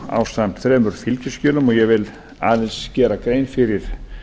ásamt þremur fylgiskjölum og ég vil aðeins gera grein fyrir